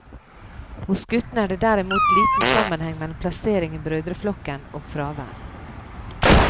Hos guttene er det derimot liten sammenheng mellom plassering i brødreflokken og fravær.